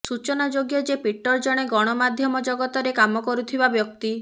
ସୂଚନାଯୋଗ୍ୟ ଯେ ପିଟର ଜଣେ ଗଣମାଧ୍ୟମ ଜଗତରେ କାମ କରୁଥିବା ବ୍ୟକ୍ତି